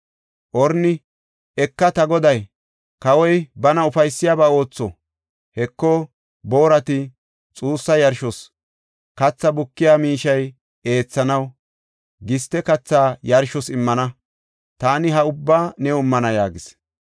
Orni, “Eka; ta goday kawoy bana ufaysiyabaa ootho. Heko, boorat xuussa yarshos, katha bukiya miishiya eethanaw, giste kathaa yarshos immana. Taani ha ubbaa new immana” yaagis.